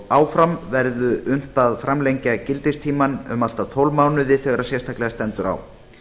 áfram verður unnt að framlengja gildistímann um allt að tólf mánuði þegar sérstaklega stendur á